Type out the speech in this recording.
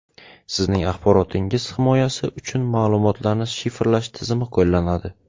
Sizning axborotingiz himoyasi uchun ma’lumotlarni shifrlash tizimi qo‘llanadi.